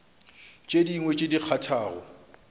tše dingwe tše di kgathago